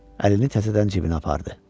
Əlini təzədən cibinə apardı.